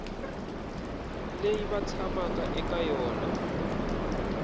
leyi va tshamaka eka yona